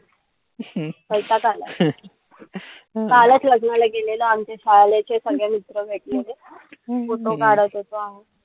वैताग आलाय कालच लग्नाला गेलेलो आमचे चे सगळे मित्र वगैरे. Photo काढत होतो आम्ही.